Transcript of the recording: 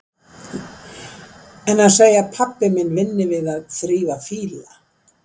En að segja að pabbi minn vinni við að þrífa fíla?